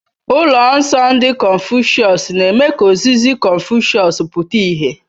Ụlọ nsọ ndị confucius na-eme ka ozizi Confucius pụta ìhè.